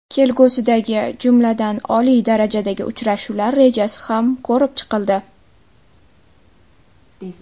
Kelgusidagi, jumladan, oliy darajadagi uchrashuvlar rejasi ham ko‘rib chiqildi.